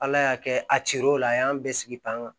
Ala y'a kɛ a cir'o la a y'an bɛɛ sigi pan kan